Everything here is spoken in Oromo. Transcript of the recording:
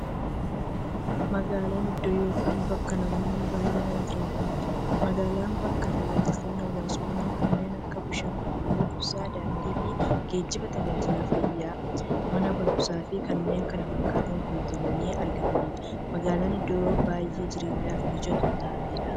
Magaalan iddoo yookiin bakka namoonni baay'inaan jiraataniidha. Magaalan bakka taajajilootni hawwaasummaa kanneen akka; bishaan qulqulluu, ibsaa, daandiifi geejjiba, taajajila fayyaa, Mana baruumsaafi kanneen kana fakkatan guutamanii argamaniidha. Magaalan iddoo baay'ee jireenyaf mijattuu taateedha.